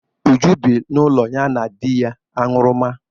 Uju bi n'ụlọ ya na di ya aṅụrụma